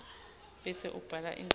bese ubhala indzaba